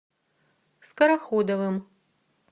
скороходовым